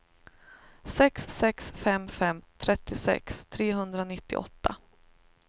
sex sex fem fem trettiosex trehundranittioåtta